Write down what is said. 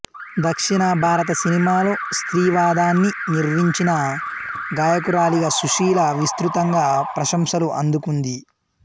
దక్షిణ భారత సినిమాలో స్త్రీవాదాన్ని నిర్వచించిన గాయకురాలిగా సుశీలా విస్తృతంగా ప్రశంసలు అందుకుంది